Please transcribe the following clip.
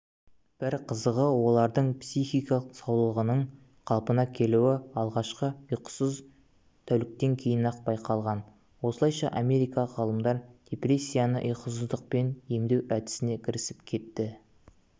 бір қызығы олардың психикалық саулығының қалпына келуі алғашқы ұйқысыз тәуліктен кейін-ақ байқалған осылайша америкалық ғалымдар депрессияны ұйқысыздықпен емдеу әдісіне кірісіп кетті